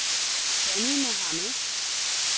Danny Mohamed